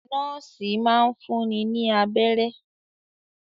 Nọ́ọ́sì máa ń fúnni ní abẹ́rẹ́.